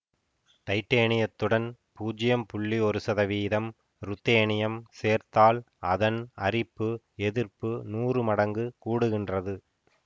டைட்டேனியத்துடன் பூஜ்யம் புள்ளி ஒன்று சதவீதம் ருத்தேனியம் சேர்த்தால் அதன் அரிப்பு எதிர்ப்பு நூறுமடங்கு கூடுகின்றது